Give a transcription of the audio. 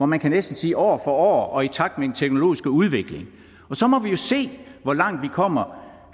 man næsten sige og i takt med den teknologiske udvikling og så må vi jo se hvor langt vi kommer